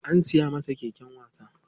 An siya masa keken wasa.